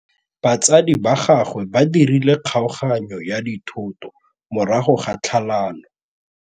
Batsadi ba gagwe ba dirile kgaoganyô ya dithoto morago ga tlhalanô.